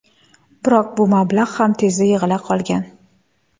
Biroq bu mablag‘ ham tezda yig‘ila qolgan.